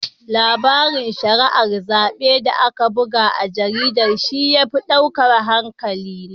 Larabin shari'ar zaɓe da aka buga a jaridar shi ya fi ɗaukar hankalina.